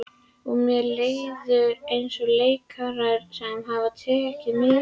Og mér líður eins og leikara sem hefur tekið mikil